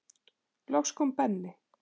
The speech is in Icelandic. Loks kom Benni.